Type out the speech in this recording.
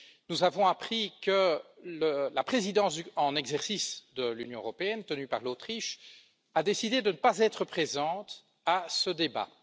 Nous avons appris que la présidence en exercice de l'Union européenne, détenue par l'Autriche, a décidé de ne pas être présente à ce débat.